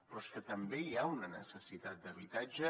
però és que també hi ha una necessitat d’habitatge